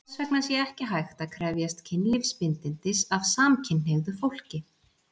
Þess vegna sé ekki hægt að krefjast kynlífsbindindis af samkynhneigðu fólki.